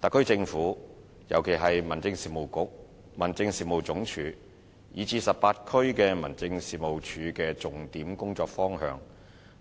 特區政府，尤其是民政事務局、民政事務總署及18區民政事務處的重點工作方向，